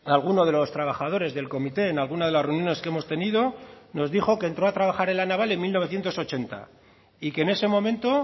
alguno de los trabajadores del comité en alguna de las reuniones que hemos tenido nos dijo que entró a trabajar en la naval en mil novecientos ochenta y que en ese momento